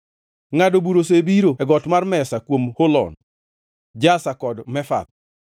Ngʼado bura osebiro e got mar mesa kuom Holon, Jaza kod Mefath,